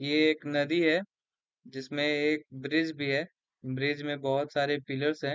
ये एक नदी है जिसमें एक ब्रिज भी है। ब्रिज में बहोत सारे पिलर्स हैं।